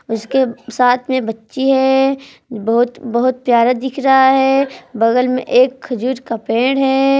उसके साथ में बच्ची है बहुत बहुत प्यारा दिख रहा है बगल में एक खजूर का पेड़ है।